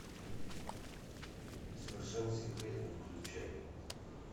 совершенно секретно включай